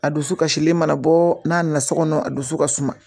A dusu kasilen mana bɔ n'a nana so kɔnɔ a dusu ka suman